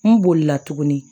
N bolila tuguni